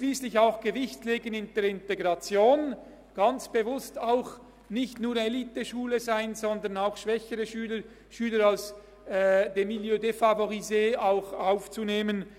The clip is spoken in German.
Schliesslich wird auch auf die Integration Gewicht gelegt, man will ganz bewusst nicht nur Eliteschule sein, sondern auch Schüler aus dem «Milieu défavorisé» aufnehmen.